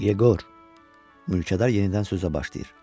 Yeqor, mülkədar yenidən sözə başlayır.